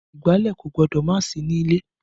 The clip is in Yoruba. Ìgbálẹ̀ kò gbọ́dọ̀ má sí ní ilé